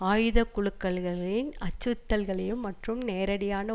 ஆயுத குழுக்கள்களின் அச்சுறுத்தல்களையும் மற்றும் நேரடியான